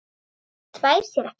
Hann þvær sér ekki.